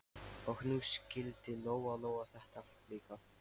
Og nú skildi Lóa-Lóa þetta allt líka.